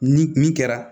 Ni min kɛra